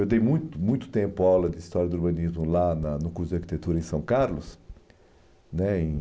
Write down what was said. Eu dei muito muito tempo a aula de História do Urbanismo lá na no curso de Arquitetura em São Carlos. Né em